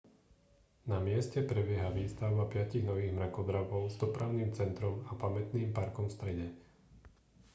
na mieste prebieha výstavba piatich nových mrakodrapov s dopravným centrom a pamätným parkom v strede